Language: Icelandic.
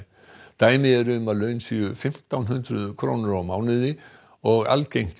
dæmi eru um að laun séu fimmtán hundruð krónur á mánuði og algengt